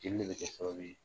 Jeli de bɛ kɛ sababu ye.